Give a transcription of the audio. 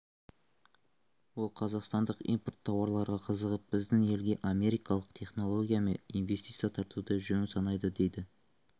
ол қазақстандық импорт тауарларға қызығып біздің елге америкалық технология мен инвестиция тартуды жөн санайды дейді